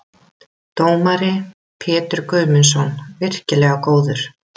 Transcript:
Dómari: Pétur Guðmundsson- virkilega góður.